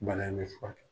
Bana in bɛ furakɛ